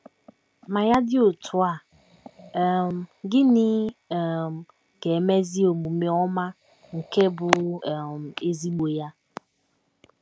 Ma ya dị otú a, um gịnị um ga - emezi omume ọma nke bụ́ um ezigbo ya?